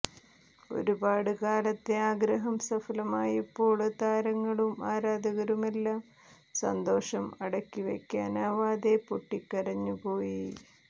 ഒരുപാട് കാലത്തെ ആഗ്രഹം സഫലമായപ്പോള് താരങ്ങളും ആരാധകരുമെല്ലാം സന്തോഷം അടക്കി വയ്ക്കാനാവാതെ പൊട്ടിക്കരഞ്ഞു പോയി